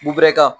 Bubɛ ka